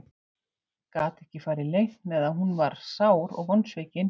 Gat ekki farið leynt með að hún var sár og vonsvikin.